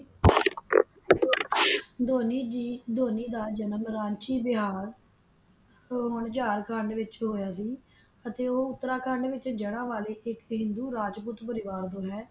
ਧੋਨੀ ਜੀ ਧੋਨੀ ਦਾ ਜਨਮ ਰਾਂਚੀ ਬਿਹਾਰ ਜੋ ਹੁਣ ਝਾਰਖੰਡ ਵਿਚ ਹੋਇਆ ਸੀ ਅਤੇ ਉਹ ਉਤਰਾਖੰਡ ਵਿੱਚ ਜੜਾ ਵਾਲੇ ਇੱਕ ਪੇਂਡੂ ਰਾਜਪੂਤ ਪਰਿਵਾਰ ਵੱਲੋਂ।